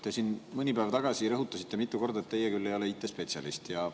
Te siin mõni päev tagasi rõhutasite mitu korda, et teie ei ole IT‑spetsialist.